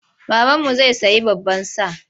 Babanmu zai sayi baban sa.